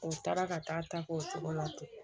O taara ka taa ta k'o cogo la ten